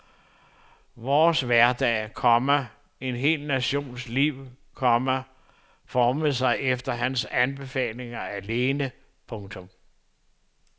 Vores hverdag, komma en hel nations liv, komma formede sig efter hans befalinger alene. punktum